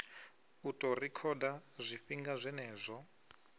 u ḓo rekhoda zwifhinga zwenezwo